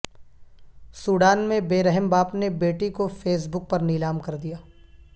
Sudan میں بے رحم باپ نے بیٹی کو فیس بک پر نیلام کردیا